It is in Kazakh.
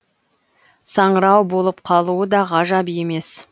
саңырау болып қалуы да ғажап емес